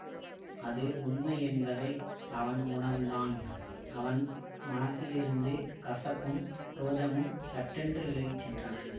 அது உண்மையென்பதை அவன் உணர்ந்தான் அவன் மனத்திலிருந்து கசப்பும் குரோதமும் சட்டென்று விலகி சென்றனன்